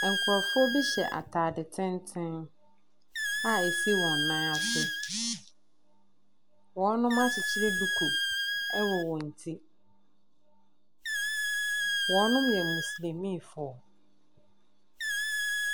Nkrɔfoɔ bi hyɛ ataade tenten a esi wɔn nan ase. Wɔakyekyere duku wɔ wɔn ti. Wɔyɛ moslɛmiifoɔ.